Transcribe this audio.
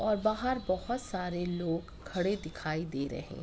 और बाहर बोहोत सारें लोग खड़े दिखाई दे रहें --